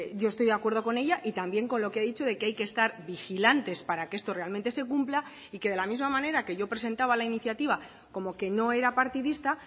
yo estoy de acuerdo con ella y también con lo que he dicho de que hay que estar vigilantes para que esto realmente se cumpla y que de la misma manera que yo presentaba la iniciativa como que no era partidista